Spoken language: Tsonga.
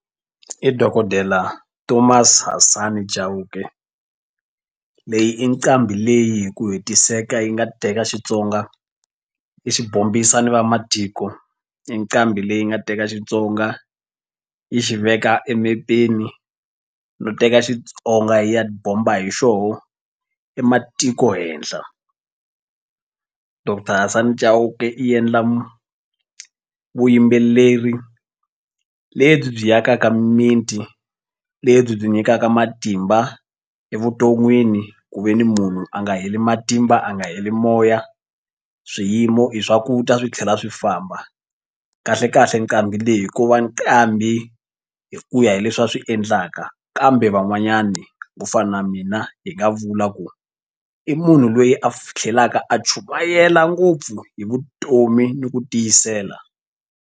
I dokodela thomas Hasani Chauke leyi i nqambi leyi hi ku hetiseka yi nga teka Xitsonga i xi bombisa ni vamatiko i nqambi leyi nga teka Xitsonga yi xi veka emepeni no teka Xitsonga yi ya bomba hi xoho ematiko henhla. Doctor Hasani Chauke i endla vuyimbeleri lebyi byi yakaka mimiti lebyi byi nyikaka matimba evuton'wini ku ve ni munhu a nga heli matimba a nga heli moya swiyimo i swa ku ta swi tlhela swi famba kahle kahle nqambi leyi ko va nqambi hi ku ya hi leswi a swi endlaka kambe van'wanyani ku fana na mina hi nga vula ku i munhu loyi a tlhelaka a chumayela ngopfu hi vutomi ni ku tiyisela.